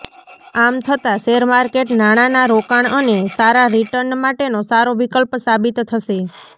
આમ થતાં શેરમાર્કેટ નાણાના રોકાણ અને સારા રિટર્ન માટેનો સારો વિકલ્પ સાબિત થશે